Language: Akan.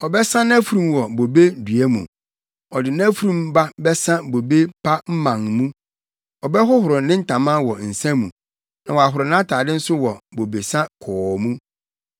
Ɔbɛsa nʼafurum wɔ bobe dua mu. Ɔde nʼafurum ba bɛsa bobe pa mman mu. Ɔbɛhoro ne ntama wɔ nsa mu, na wahoro nʼatade nso wɔ bobesa kɔɔ mu.